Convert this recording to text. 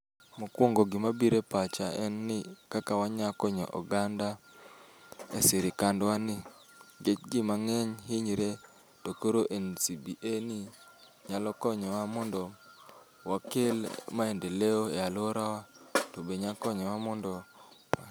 Mokwongo gima bire pacha en ni kaka wanya konyo oganda e sirikandwa ni nikech jii mang'eny hinyre to koro NCBA ni nyalo konyowa mondo wakel maendeleo e aluora wa to be nya konyowa mondo